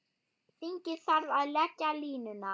Þingið þarf að leggja línuna.